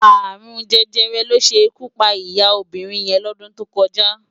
Arún Jẹjẹrẹ ló ṣé ikú pá iyá óbirin yèn lòdún tó kòjá